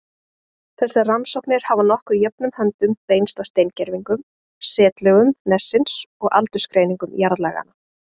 Þessar rannsóknir hafa nokkuð jöfnum höndum beinst að steingervingum, setlögum nessins og aldursgreiningum jarðlaganna.